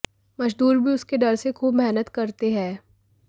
मज़दूर भी उसके डर से ख़ूब मेहनत करते हैं